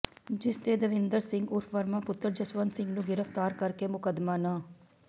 ਜਿਸ ਤੇ ਦਵਿੰਦਰ ਸਿੰਘ ਉਰਫ ਵਰਮਾ ਪੁੱਤਰ ਜਸਵੰਤ ਸਿੰਘ ਨੂੰ ਗ੍ਰਿਫਤਾਰ ਕਰਕੇ ਮੁਕਦਮਾ ਨੰ